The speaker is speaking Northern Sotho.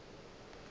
a ba a šetše a